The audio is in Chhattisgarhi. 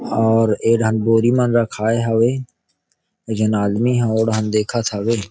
और ए डाहन बोरी मन राखाए हवे एक झन आदमी ह ओ डाहन देखत हवे।